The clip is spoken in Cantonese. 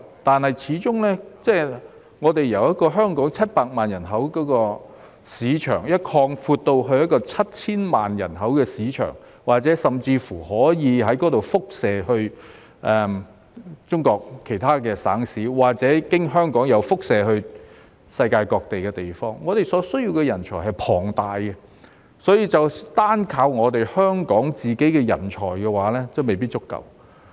然而，始終由香港700萬人口的市場擴闊至 7,000 萬人口的市場，甚或由那裏輻射至中國其他省市或經香港輻射至世界各地，我們所需要的人才是龐大的，單靠香港本身的人才未必足夠。